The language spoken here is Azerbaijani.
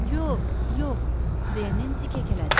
Yox, yox, deyə Nensi kəkələdi.